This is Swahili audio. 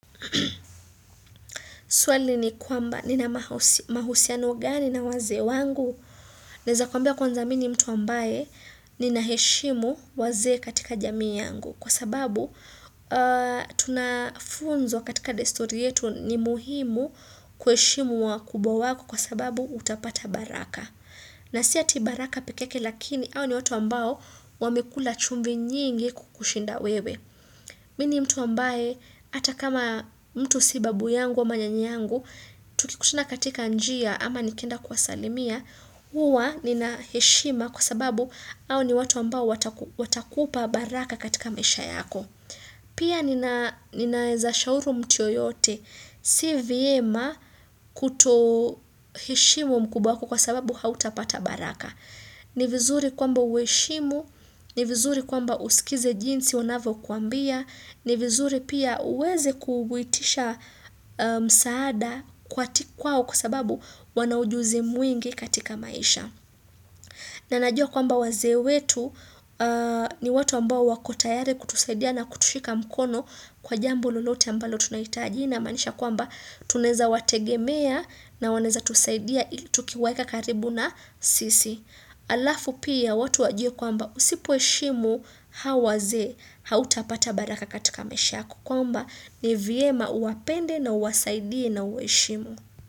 Swali ni kwamba nina mahosi mahusiano gani na wazee wangu? Naeza kwamba kwanza mi ni mtu ambaye nina heshimu wazee katika jamii yangu. Kwa sababu tunafunzwa katika desturi yetu ni muhimu kueshimu wakubwa wako kwa sababu utapata baraka. Na si eti baraka pike yake lakini hawa ni watu ambao wamekula chumvii nyingi kukushinda wewe. Mini mtu ambaye hata kama mtu si babu yangu ama nyanyangu, tukikutana katika njia ama nikienda kuwasalimia, huwa nina heshima kwa sababu hao ni watu ambao wataki watakupa baraka katika misha yako. Pia nina ninaeza shauru mtu yoyote, si vyema kutoheshimu mkubwa wako kwa sababu hautapata baraka. Ni vizuri kwamba ueshimu, ni vizuri kwamba usikize jinsi wanavo kuambia, ni vizuri pia uweze kuvuitisha msaada kwat kwao kwa sababu wana ujuzi mwingi katika maisha. Na najua kwamba wazee wetu ni watu ambao wako tayari kutusaidia na kutushika mkono kwa jambo lolote ambalo tunahitaji hii inamaanisha kwamba tuneza wategemea na waneza tusaidia ili tukiwaeka karibu na sisi. Alafu pia watu wajue kwamba usipo heshimu hawa wazee hautapata baraka katika maisha yako kwamba ni vyema uwapende na uwasaidie na uweshimu.